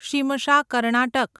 Shimsha Karnataka